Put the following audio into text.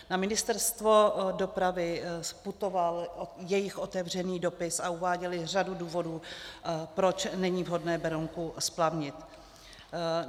Na Ministerstvo dopravy putoval jejich otevřený dopis a uváděli řadu důvodů, proč není vhodné Berounku splavnit.